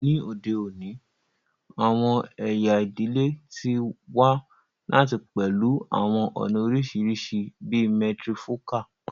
Ni ode oni, awọn ẹya idile ti wa lati pẹlu awọn ọna oriṣiriṣi bii matrifocal